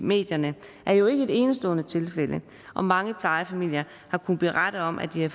medierne er jo ikke et enestående tilfælde og mange plejefamilier har kunnet berettet om at de har